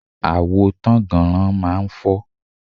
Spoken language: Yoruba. Àwo tánnganran máa ń fọ́.